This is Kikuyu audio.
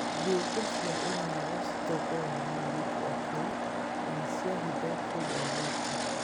Thigũkũ cia unyago citongoragio nĩ airĩtu akũrũ na nĩ cia hitho kũrĩ airĩtu.